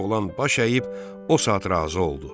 Oğlan baş əyib o saat razı oldu.